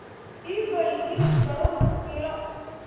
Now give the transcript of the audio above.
Ii gooy hilib barur nus kilo